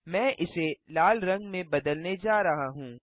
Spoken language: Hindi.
मैं इसे लाल रंग में बदलने जा रहा हूँ